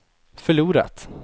förlorat